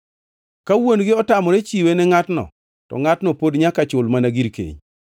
Ka wuon-gi otamore chiwe ne ngʼatno, to ngʼatno pod nyaka chul mana gir keny.